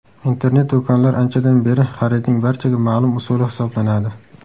Internet-do‘konlar anchadan beri xaridning barchaga ma’lum usuli hisoblanadi.